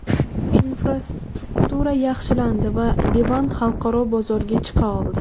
Infrastruktura yaxshilandi va Livan xalqaro bozorga chiqa oldi.